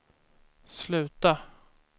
sluta